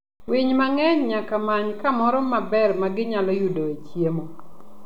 Winy mang'eny nyaka many kamoro maber ma ginyalo yudoe chiemo.